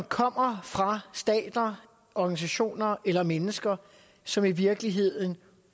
kommer fra stater og organisationer eller mennesker som i virkeligheden